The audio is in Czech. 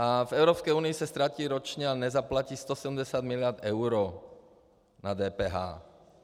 A v Evropské unii se ztratí ročně a nezaplatí 170 miliard eur na DPH.